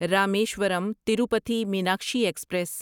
Rameswaram Tirupati Meenakshi express